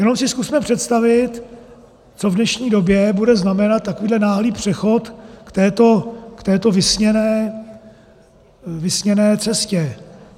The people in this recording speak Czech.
Jenom si zkusme představit, co v dnešní době bude znamenat takovýhle náhlý přechod k této vysněné cestě.